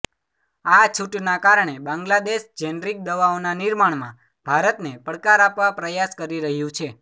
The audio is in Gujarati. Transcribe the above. આ છૂટના કારણે બાંગ્લાદેશ જેનરિક દવાઓના નિર્માણમાં ભારતને પડકાર આપવા પ્રયાસ કરી રહ્યું છે